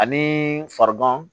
Ani farigan